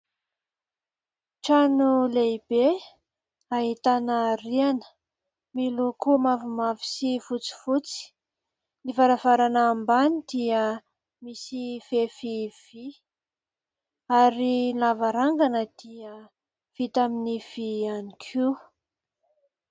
Trano lehibe ahitana riana miloko mavomavo sy fotsifotsy, ny varavarana ambany dia misy fefy vy ary lavarangana dia vita amin'ny vy ihany koa.